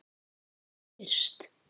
Sem fyrst.